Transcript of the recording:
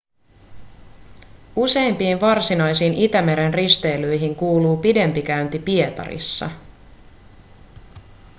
useimpiin varsinaisiin itämeren risteilyihin kuuluu pidempi käynti pietarissa